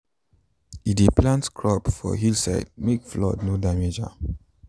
e dey plant crops for hill side make flood no damage am.